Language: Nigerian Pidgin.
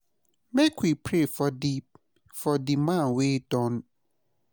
Make we pray for di for di man wey die make im find peace where im dey.